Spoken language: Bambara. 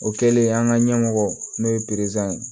O kɛlen an ka ɲɛmɔgɔ n'o ye ye